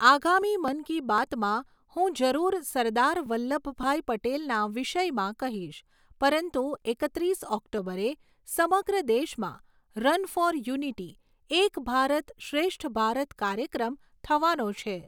આગામી મન કી બાતમાં હું જરૂર સરદાર વલ્લભભાઈ પટેલના વિષયમાં કહીશ, પરંતુ એકત્રીસ ઑક્ટોબરે સમગ્ર દેશમાં run for unity, Ek Bharat Shreshtha Bharat કાર્યક્રમ થવાનો છે.